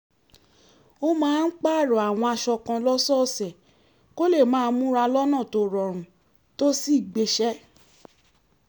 ó máa ń pààrọ̀ àwọn aṣọ kan lọ́sọ̀ọ̀sẹ̀ kó lè máa múra lọ́nà tó rọrùn tó sì gbéṣẹ́